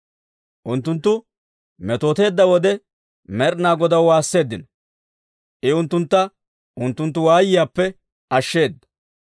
Unttunttu metooteedda wode, Med'inaa Godaw waasseeddino; I unttuntta unttunttu waayiyaappe ashsheeda.